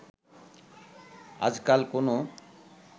আজকাল কোনো